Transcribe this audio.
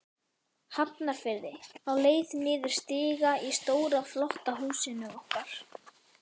Hafnarfirði, á leið niður stiga í stóra, flotta húsinu okkar.